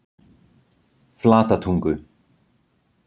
Flatatungu